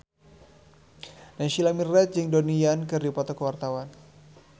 Naysila Mirdad jeung Donnie Yan keur dipoto ku wartawan